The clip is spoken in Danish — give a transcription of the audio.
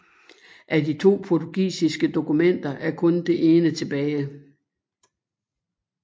Af de to portugisiske dokumenter er kun det ene tilbage